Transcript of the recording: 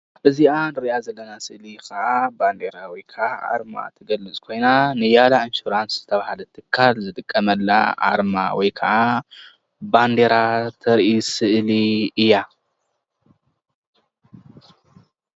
ኣርማ ወይ ከዓ ባንዴራ ሊያላ ኢንሹራንስ ይበሃል።